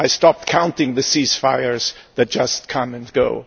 I stopped counting the ceasefires that just come and go.